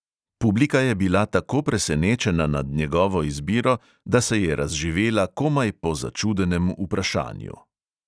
Publika je bila tako presenečena nad njegovo izbiro, da se je razživela komaj po začudenem vprašanju.